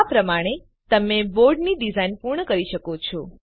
આ પ્રમાણે તમે બોર્ડની ડીઝાઈન પૂર્ણ કરી શકો છો